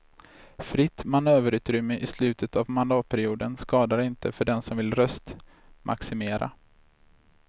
Fritt manöverutrymme i slutet av mandatperioden skadar inte för den som vill röstmaximera.